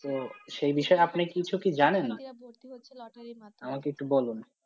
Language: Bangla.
তো সেই বিষয়ে আপনি কিছু কি জানেন? হ্যাঁ, ভর্তি হচ্ছে লটারীর মাধ্যমে, আমাকে একটু বলুন?